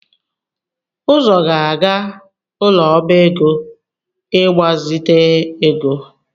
Uzo ga-aga ụlọ ọba ego, ịgbazite ego